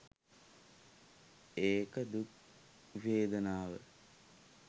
ඒක දුක් වේදනාව.